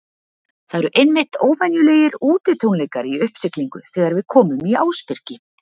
Það eru einmitt óvenjulegir útitónleikar í uppsiglingu þegar við komum í Ásbyrgi.